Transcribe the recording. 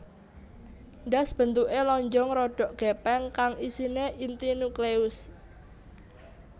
Ndas bentuke lonjong rodok gepeng kang isine inti nucleus